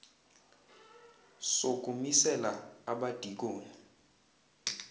soku misela abadikoni